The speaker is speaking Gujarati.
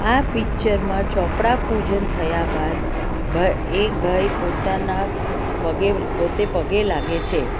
આ પિક્ચરમાં ચોપડા પૂજન થયા બાદ ભાઈ એક ભાઈ પોતાના પગે પોતે પગે લાગે છે.